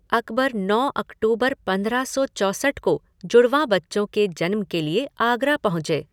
अकबर नौ अक्टूबर पंद्रह सौ चौसठ को जुड़वाँ बच्चों के जन्म के लिए आगरा पहुँचे।